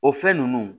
O fɛn ninnu